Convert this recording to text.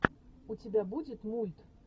у тебя будет мульт